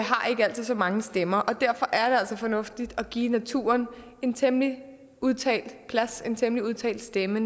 altid så mange stemmer og derfor er det altså fornuftigt at give naturen en temmelig udtalt plads en temmelig udtalt stemme